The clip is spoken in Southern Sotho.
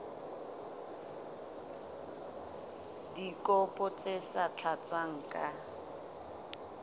dikopo tse sa tlatswang ka